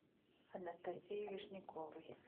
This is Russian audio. анастасии вишняковой